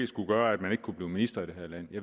skulle gøre at man ikke kan blive minister i det her land